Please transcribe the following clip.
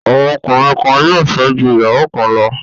Àwọn ọkùnrin kan yóò fẹ́ ju ìyàwó kan lọ.